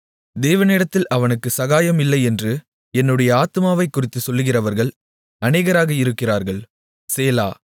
தேவனிடத்தில் அவனுக்கு சகாயம் இல்லை என்று என்னுடைய ஆத்துமாவைக் குறித்துச் சொல்லுகிறவர்கள் அநேகராக இருக்கிறார்கள் சேலா